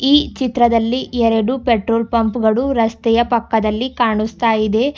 ಈ ಚಿತ್ರದಲ್ಲಿ ಎರಡು ಪೆಟ್ರೋಲ್ ಪಂಪ್ ಗಳು ರಸ್ತೆಯ ಪಕ್ಕದಲ್ಲಿ ಕಾಣಿಸ್ತಾ ಇದೆ.